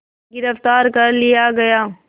गिरफ़्तार कर लिया गया